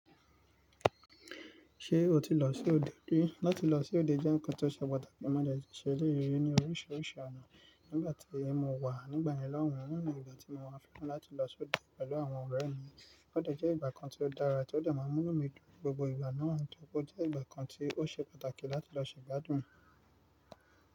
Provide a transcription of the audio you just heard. Ṣé o ti lọ sí òde rí? Látí lọ sí òde jẹ́ ǹkan tó ṣe pàtàkì májèjù ṣẹ́lẹ́ yìí ní oríṣiríṣi ọ̀nà. Nígbàtí mo wà nígbà ìyálọ́rùn, òhun ni ìgbà tí mo máa fíkún láti lọ sí òde pẹ̀lú àwọn ọ̀rẹ́ mi. Ódẹ̀ jẹ́ ìgbà kan tí o dára tí ódẹ̀ máa wún mi dúró gbogbo ìgbà náà, nítorí o jẹ́ ìgbà kan tí o ṣe pàtàkì láti lọ ṣègbádùn.